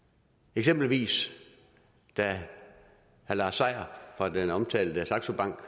eksempelvis at da herre lars seier fra den omtale saxo bank